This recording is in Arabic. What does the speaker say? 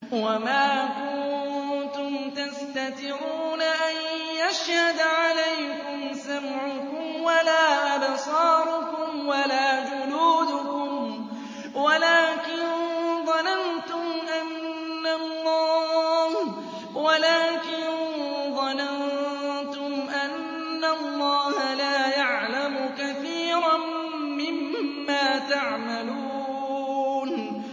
وَمَا كُنتُمْ تَسْتَتِرُونَ أَن يَشْهَدَ عَلَيْكُمْ سَمْعُكُمْ وَلَا أَبْصَارُكُمْ وَلَا جُلُودُكُمْ وَلَٰكِن ظَنَنتُمْ أَنَّ اللَّهَ لَا يَعْلَمُ كَثِيرًا مِّمَّا تَعْمَلُونَ